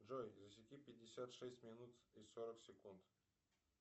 джой засеки пятьдесят шесть минут и сорок секунд